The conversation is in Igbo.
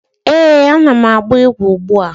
Eh, a na m agba igwe ugbua.